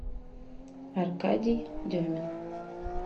аркадий демин